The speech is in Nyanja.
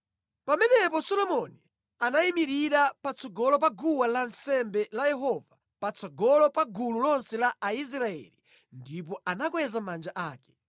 Pamenepo Solomoni anayimirira patsogolo pa guwa lansembe la Yehova patsogolo pa gulu lonse la Aisraeli ndipo anakweza manja ake.